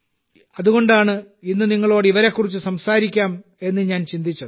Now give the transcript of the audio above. അതുകൊണ്ടാണ് ഇന്ന് നിങ്ങളോട് ഇവരെക്കുറിച്ച് സംസാരിക്കാത്തത് എന്ന് ഞാൻ ചിന്തിച്ചത്